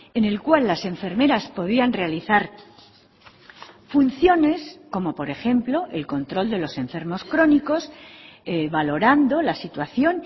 en el cual las enfermeras podían realizar funciones como por ejemplo el control de los enfermos crónicos valorando la situación